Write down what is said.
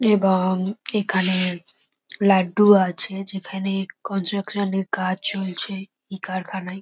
এব-ও-ং এখানে লাড্ডু আছে যেখানে কনস্ট্রাকশন এর কাজ চলছে ই কারখানায়।